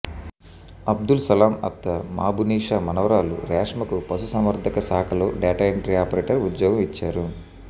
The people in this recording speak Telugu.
అబ్దుల్ సలాం అత్త మాబున్నీసా మనవరాలు రేష్మకు పశుసంవర్థక శాఖలో డేటా ఎంట్రీ ఆపరేటర్ ఉద్యోగం ఇచ్చారు